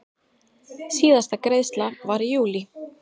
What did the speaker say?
Síðasta greiðsla var í júlí.